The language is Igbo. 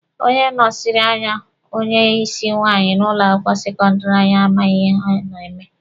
Onye nọsiri anya onye isi nwaanyị n'ụlọ akwụkwọ sekọndịrị anyị amaghị ihe ọ na-eme.